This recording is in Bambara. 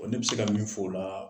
Ne bɛ se ka min fɔ o la